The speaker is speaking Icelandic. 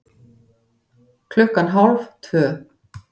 Klukkan hálf tvö